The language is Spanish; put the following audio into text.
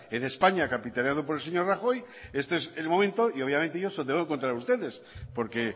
en españa capitaneado por el señor rajoy este es el momento y obviamente yo se lo tengo que contar a ustedes porque